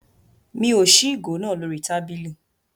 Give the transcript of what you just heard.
Mi ò ṣí ìgò náà lórí tábìlì.